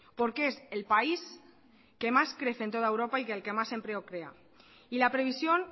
porque es el país que más crece en toda europa y el que más empleo crea y la previsión